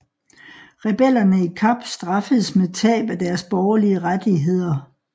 Rebellerne i Kap straffedes med tab af deres borgerlige rettigheder